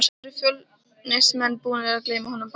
Voru Fjölnismenn búnir að gleyma honum bara?